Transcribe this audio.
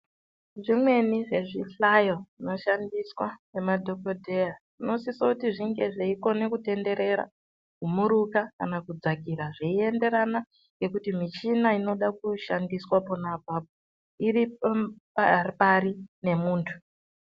Zvimweni zvezvihlayo zvinoshandiswa nemadhogodheya zvinosiso kunge zveikone kutenderera kumuruka kana kudzakira. Zveienderana nekuti michina inoda kushandiswa pona apapo iri pari nemuntu.